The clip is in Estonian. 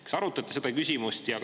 Kas arutati seda küsimust?